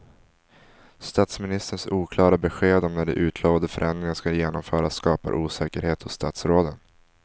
Statsministerns oklara besked om när de utlovade förändringarna ska genomföras skapar osäkerhet hos statsråden.